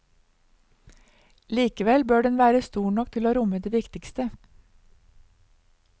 Likevel bør den være stor nok til å romme det viktigste.